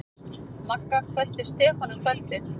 Magga kvöddu Stefán um kvöldið.